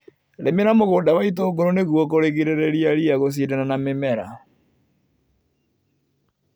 Rĩmira mũgunda wa itũngũrũ nĩguo kũrigĩrĩria ria gũcindana na mĩmera.